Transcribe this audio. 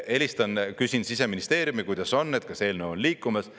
Ma helistan, küsin Siseministeeriumilt, kuidas on, kas eelnõu on liikumas.